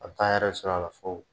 A bi taa a yɛrɛ sɔrɔ a la fo